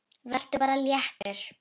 Vertu bara léttur!